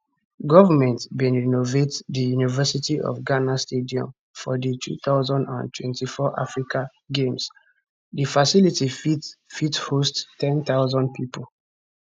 goment bin renovate di university of ghana stadium for di 2024 africa games di facility fit fit host 10000 pipo